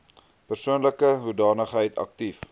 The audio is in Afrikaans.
persoonlike hoedanigheid aktief